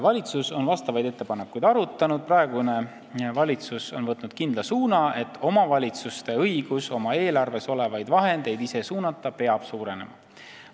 " Valitsus on vastavaid ettepanekuid arutanud, praegune valitsus on võtnud kindla suuna, et omavalitsuste õigus oma eelarves olevaid vahendeid ise suunata peab suurenema.